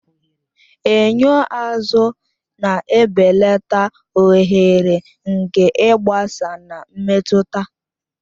Enyo azụ na-ebelata oghere nke ịgbasa na mmetụta